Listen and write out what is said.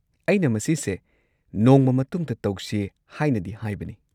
ꯑꯩꯅ ꯃꯁꯤꯁꯦ ꯅꯣꯡꯃ ꯃꯇꯨꯡꯗ ꯇꯧꯁꯦ ꯍꯥꯏꯅꯗꯤ ꯍꯥꯏꯕꯅꯦ꯫